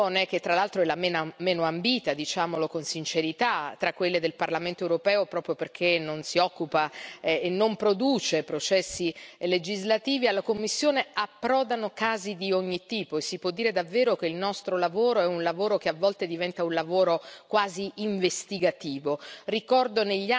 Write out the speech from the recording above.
Alla commissione, che tra l'altro è la meno ambita, diciamolo con sincerità, tra quelle del Parlamento europeo, proprio perché non si occupa e non produce processi legislativi, approdano casi di ogni tipo e si può dire davvero che il nostro lavoro è un lavoro che a volte diventa quasi investigativo.